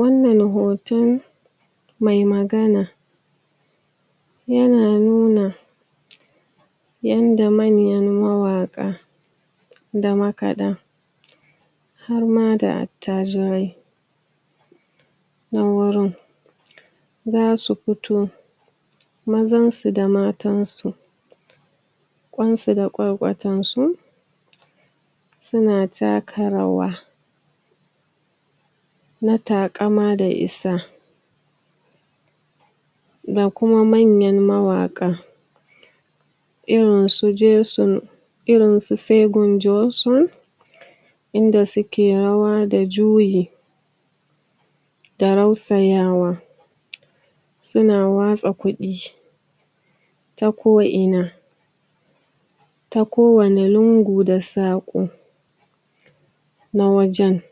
Wannan hoton mai magana, yana nuna yanda manyan mawaƙa, da makaɗa harma da attajirai, nan gurin zasu fito mazan su da matansu ƙwansu da ƙwarƙwatar su suna taka rawa na taƙama da isa. Ga kuma manyan mawaƙa irin su jeson irin su segun jeson inda suke rawa da juyi, da rausayawa suna watsa kuɗi ta ko ina ta ko wane lungu da saƙo na wajen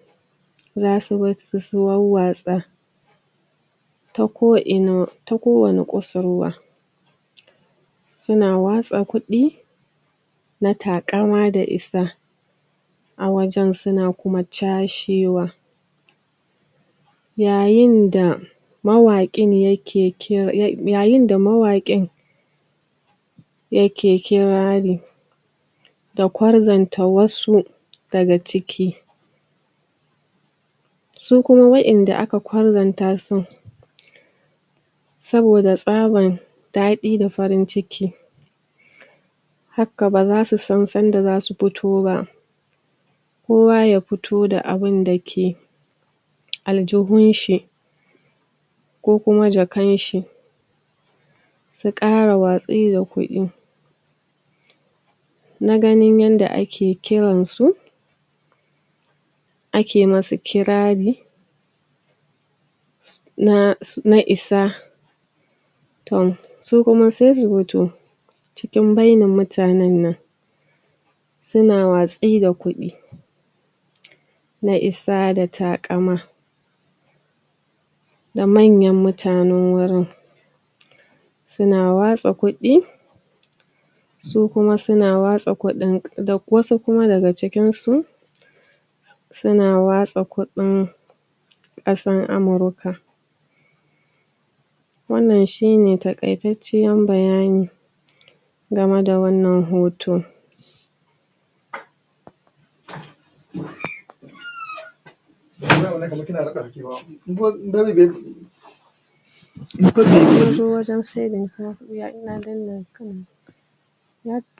zasu barsu su warwatsa ta ko ina ta kuwanne kusurwa suna watsa kuɗi na taƙama da isa a wajen suna kuma cashewa. Yayin da yayinda mawaƙin um yake kirari da ƙwarzanta wasu daga cik,i su kuma waƴanda aka ƙwarzantasu saboda tsaban daɗi da farin ciki haka baza su san sanda zasu fito ba, kowa ya fito da abinda ke aljihunshi ko kuma jakan shi, su ƙara watsi da kuɗi na ganin yanda ake kiransu ake masu kirari um na isa tom su kuma se su fito cikin bainar mutanen nan suna watsi da kuɗi na isa da taƙama da manyan mutane wurin suna watsa kuɗi su kuma suna watsa kuɗin da wasu kuma daga cikin su suna watsa kuɗin ƙasar amurka wannan shine taƙaitanciyan bayani game da wannan hoto.